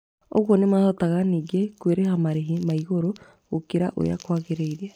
Ũguo nĩmahotaga ningĩ kwĩrĩha marĩhĩ ma igũrũ gũkĩra ũrĩa kwagĩrĩire